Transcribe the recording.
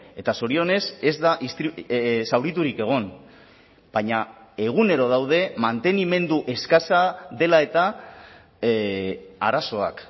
eta zorionez ez da zauriturik egon baina egunero daude mantenimendu eskasa dela eta arazoak